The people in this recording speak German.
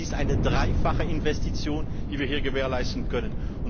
Denn es ist eine dreifache Investition, die wir hier gewährleisten können.